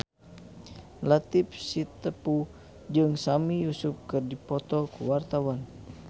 Latief Sitepu jeung Sami Yusuf keur dipoto ku wartawan